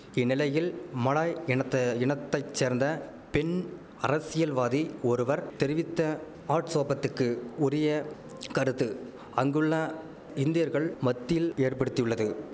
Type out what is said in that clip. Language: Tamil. இந்நிலையில் மலாய் இனத்த இனத்தை சேர்ந்த பெண் அரசியல்வாதி ஒருவர் தெரிவித்த ஆட்சோபத்துக்கு உரிய கருத்து அங்குள்ள இந்தியர்கள் மத்தில் ஏற்படுத்தியுள்ளது